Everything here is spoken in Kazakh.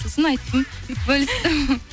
сосын айттым бөлістім